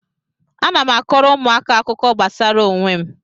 Ana m akọọrọ ụmụaka akụkọ gbasara onwe m